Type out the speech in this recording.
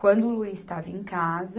Quando o Luiz estava em casa,